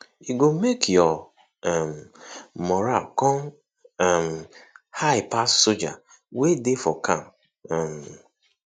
e go mek yur um moral con um high pass soldier wey dey for camp um